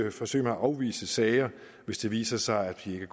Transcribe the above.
et forsøg med at afvise sager hvis det viser sig at de ikke